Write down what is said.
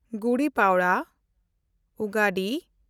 ᱜᱩᱰᱤ ᱯᱟᱲᱣᱟ/ᱩᱜᱟᱰᱤ